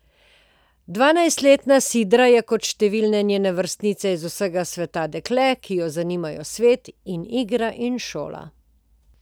Dvanajstletna Sidra je kot številne njene vrstnice iz vsega sveta dekle, ki jo zanimajo svet in igra in šola.